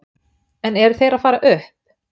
En eru þeir að fara upp?